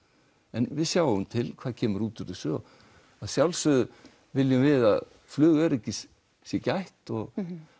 en við sjáum til hvað kemur út úr þessu að sjálfsögðu viljum við að flugöryggis sé gætt og